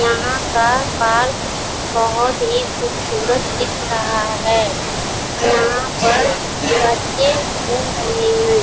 यहाँ का पार्क बहोत ही खूबसूरत दिख रहा है। यहाँ पर लड़के घूम रहे हैं|